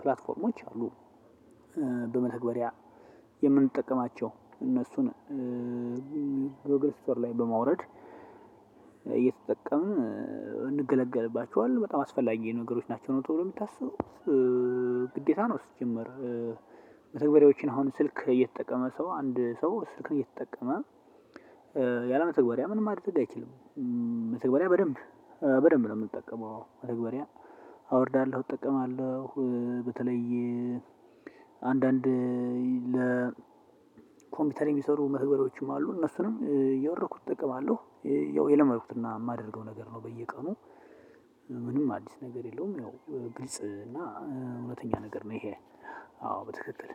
ፕላትፎርሞች አሉ። በመተግበሪያ የምንጠቀማቸው እነሱን ጎግል እስቶር ላይ በማውረድ እየተጠቀምን እንገለገልባቸውለን በጣም አስፈላጊ ነገሮች ናቸው ተብሎ ነው የሚታሰበው። እ እ ግዴታ ነው። ሲጀመር መተግበሪያዎች አሁን ስልክ የተጠቀመ ሰው አንድ ሰው ስልኩን እየተጠቀመ ያለ መተግበሪያ ምንም ማድረግ አይችልም። መተግበሪያ በደንብ በደንብ ነው የምንጠቀመው። መተግበሪያ አወርዳለሁ እጠቀማለሁ በተለይ አንዳንድ ለ ኮምፒውተር የሚሰሩ መተግበዶችም አሉ እነሱንም እየወረኩ እጠቀማለሁ። ያው የለመድኩትና የማደርገው ነገር ነው። በየቀኑ ምንም አዲስ ነገር የለውም። ያው ግልጽ እና እውነተኛ ነገር ነው። ይሄ አዎ በትክክል